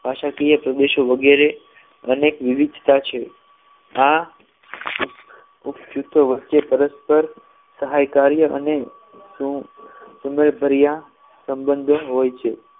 ભાષાકીય પ્રદેશો વગેરે અનેક વિવિધતા છે આ વચ્ચે પરસ્પર સહકાર્ય અને સુંદ સુંદર પ્રિય સંબંધ હોય છે